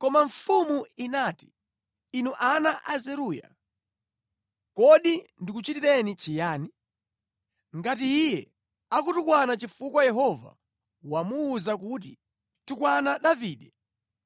Koma mfumu inati, “Inu ana a Zeruya, kodi ndikuchitireni chiyani? Ngati iye akutukwana chifukwa Yehova wamuwuza kuti, ‘Tukwana Davide,’